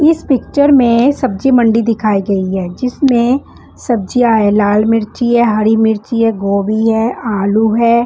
इस पिक्चर में सब्जी मंडी दिखाई गई है जिसमें सब्जियाँ हैं लाल मिर्ची है हरी मिर्ची है गोभी है आलू है।